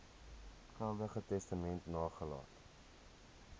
geldige testament nagelaat